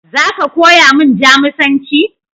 Za ka koya min Jamusanci?